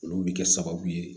Olu bɛ kɛ sababu ye